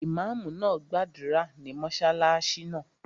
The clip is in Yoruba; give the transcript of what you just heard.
Ìmáàmù náà gbàdúrà ní mọ́sálásí náà